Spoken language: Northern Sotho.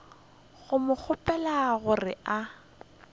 go mo kgopela gore a